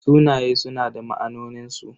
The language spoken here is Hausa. Sunaye suna da ma'anonin su.